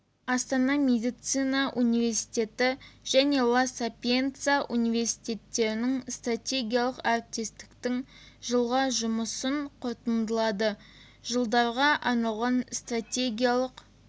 астана медицина университеті және ла сапиенца университеттерінің стратегиялық әріптестіктің жылға жұмысын қорытындылады жылдарға арналған стратегиялық